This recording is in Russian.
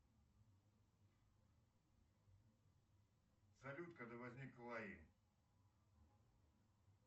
салют когда возник лаи